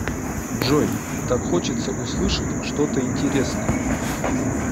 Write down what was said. джой так хочется услышать что то интересное